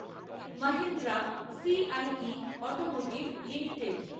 Mahindra CIE automotive limited